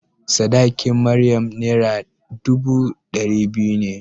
Sadakin Maryam Naira dubu ɗari biyu ne.